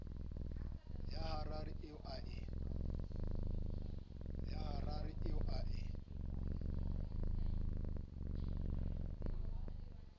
ya harare eo a e